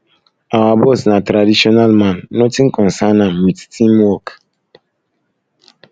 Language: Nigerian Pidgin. our boss na traditional man nothing concern am wit team work